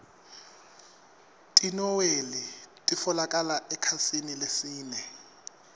tinoueli titfolokala ekhasini lesine